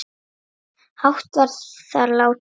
hátt var þar látið